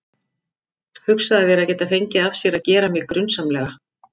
Hugsaðu þér að geta fengið af sér að gera mig grunsamlega.